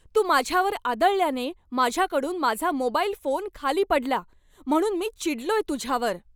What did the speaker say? तू माझ्यावर आदळल्याने माझ्याकडून माझा मोबाईल फोन खाली पडला, म्हणून मी चिडलोय तुझ्यावर!